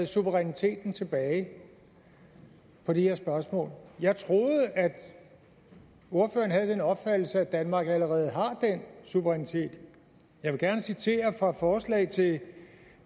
suveræniteten tilbage i det her spørgsmål jeg troede at ordføreren havde den opfattelse at danmark allerede har den suverænitet jeg vil gerne citere fra forslaget til